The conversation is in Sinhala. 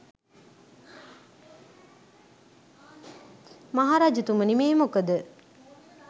මහරජතුමනි මේ මොකද